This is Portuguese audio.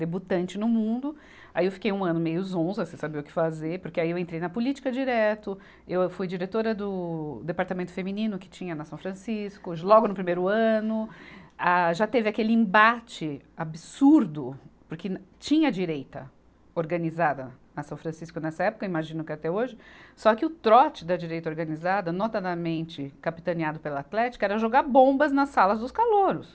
debutante no mundo, aí eu fiquei um ano meio zonza, sem saber o que fazer, porque aí eu entrei na política direto, eu fui diretora do departamento feminino que tinha na São Francisco, logo no primeiro ano, ah, já teve aquele embate absurdo, porque tinha direita organizada na São Francisco nessa época, imagino que até hoje, só que o trote da direita organizada, notadamente capitaneado pela Atlética, era jogar bombas nas salas dos calouros.